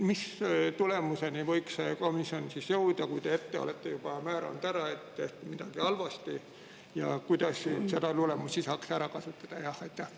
Mis tulemuseni võiks see komisjon siis jõuda, kui te juba ette olete määranud ära, et midagi oli halvasti, ja kuidas seda tulemust saaks ära kasutada?